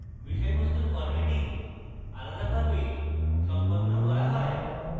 বিষয়বস্তুর formatting আলাদাভাবে সম্পন্ন করা হয়